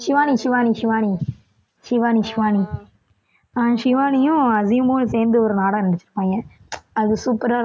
ஷிவானி ஷிவானி ஷிவானி ஷிவானி ஷிவானி அஹ் ஷிவானியும் அசீமமும் சேர்ந்து ஒரு நாடகம் நடிச்சிருப்பாங்க அது super ஆ